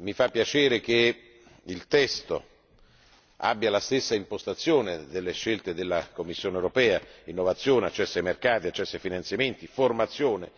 Mi fa piacere che il testo abbia la stessa impostazione delle scelte della Commissione europea innovazione, accesso ai mercati, accesso ai finanziamenti, formazione